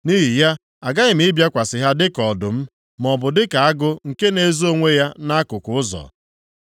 Nʼihi ya, aghaghị m ịbịakwasị ha dịka ọdụm; maọbụ dịka agụ nke na-ezo onwe ya nʼakụkụ ụzọ.